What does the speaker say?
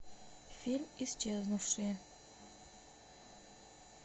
фильм исчезнувшие